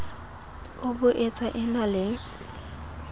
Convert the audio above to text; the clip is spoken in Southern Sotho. e boetsa e na le